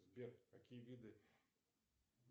сбер какие виды